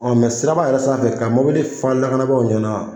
Ɔ mɛ siraba yɛrɛ sanfɛ ka mobili faa lakanabaw ɲɛna